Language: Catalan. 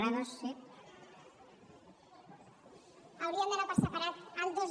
haurien d’anar per separar el dos